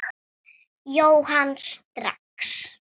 Jóhann: Strax?